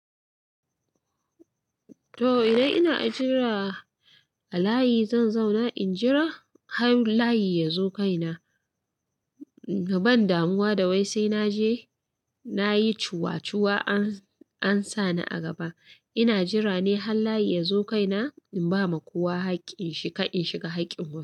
Toh idan ina jira a layi zan zauna in jira har layi yazo kaina. Ban damuwa da wai sai naje nayi cuwacuwa an-ansa ni a gaba. Ina jira ne har layi yazo kaina in bama kowa hakkin shi ka in shiga hakkin mu.